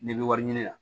N'i bɛ wari ɲini na